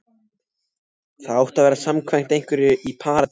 Það átti að vera samkvæmt einhverri Parísartísku.